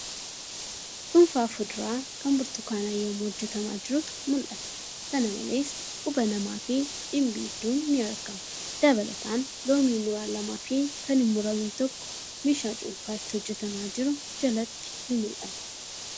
Cuunfaa fuduraa kan burtukaanaa yemmuu hojjatamaa jirutu mul'ata. Kana malees quba namaafi dhimbiibduun ni argama. Dabalataan , Loomii muraan lamaafi kan hin muramiin tokko meeshaa cuunfaan itti hojjatamaa jiru jalatti ni mul'ata.